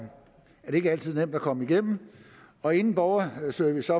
det ikke altid nemt at komme igennem og inden borgerservice